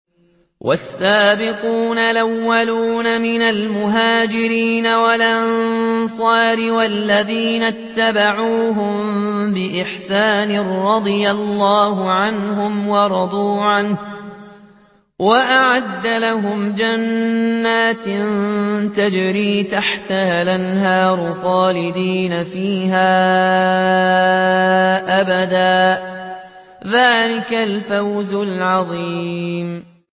وَالسَّابِقُونَ الْأَوَّلُونَ مِنَ الْمُهَاجِرِينَ وَالْأَنصَارِ وَالَّذِينَ اتَّبَعُوهُم بِإِحْسَانٍ رَّضِيَ اللَّهُ عَنْهُمْ وَرَضُوا عَنْهُ وَأَعَدَّ لَهُمْ جَنَّاتٍ تَجْرِي تَحْتَهَا الْأَنْهَارُ خَالِدِينَ فِيهَا أَبَدًا ۚ ذَٰلِكَ الْفَوْزُ الْعَظِيمُ